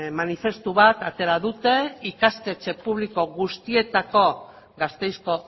manifestu bat atera dute ikastetxe publiko guztietako gasteizko